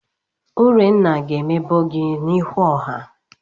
Urenna ga-emebọ gị n'ihu ọha.